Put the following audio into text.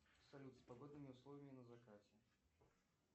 салют с погодными условиями на закате